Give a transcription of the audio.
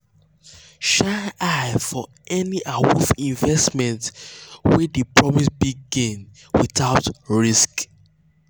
shine eye for any eye for any awoof investment wey dey promise big gain without risk.